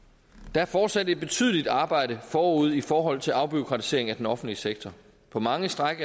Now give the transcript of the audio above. der er fortsat et betydeligt arbejde forude i forhold til afbureaukratisering af den offentlige sektor på mange stræk